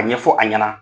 A ɲɛfɔ a ɲɛna